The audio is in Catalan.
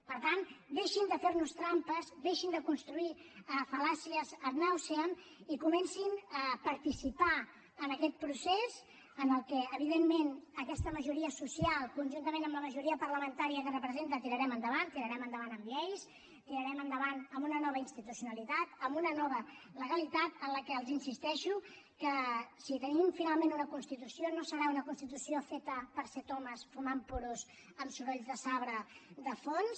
per tant deixin de fer nos trampes deixin de construir fal·làcies ad nauseam i comencin a participar en aquest procés que evidentment aquesta majoria social conjuntament amb la majoria parlamentària que representa tirarem endavant tirarem endavant amb lleis tirarem endavant amb una nova institucionalitat amb una nova legalitat en què els insisteixo que si tenim finalment una constitució no serà una constitució feta per set homes fumant puros amb sorolls de sabre de fons